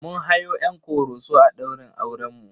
Mun hayo 'yan Ƙoroso a ɗaurin aurenmu.